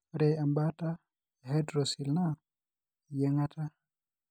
Ore embaata ehydrocele naa iyieng'ata.